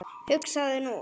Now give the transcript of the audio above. hugsar þú.